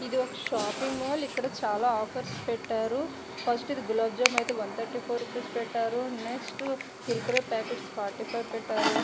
ఇది ఒక shopping mall ఇక్కడ చాలా ఆఫర్స్ పెట్టారు ఫస్ట్ ఇది గులాబ్ జామ్ అయితే ఒకటి మూడు నాలుగు పెట్టారు నెక్స్ట్ కుర్కురే ప్యాకెట్స్ నాలుగు ఐదు పెట్టారు.